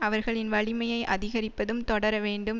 அவர்களின் வலிமையை அதிகரிப்பதும் தொடர வேண்டும்